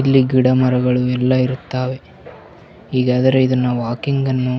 ಇಲ್ಲಿ ಗಿಡ ಮರಗಳು ಎಲ್ಲ ಇರುತ್ತಾವೆ ಹೀಗಾದರೆ ಇದು ನಾವು ವಾಕಿಂಗನ್ನು --